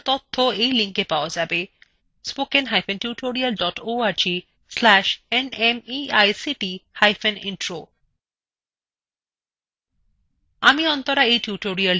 এই বিষয় বিস্তারিত তথ্য এই লিঙ্কএ পাওয়া যাবে